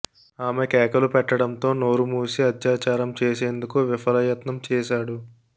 ఆమె కేకలు పెట్టడంతో నోరుమూసి అత్యాచారం చేసేందుకు విఫల యత్నం చేశాడు